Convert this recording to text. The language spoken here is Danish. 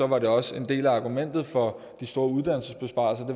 var det også en del af argumentet for de store uddannelsesbesparelser